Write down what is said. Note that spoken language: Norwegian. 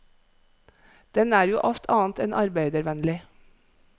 Den er jo alt annet enn arbeidervennlig.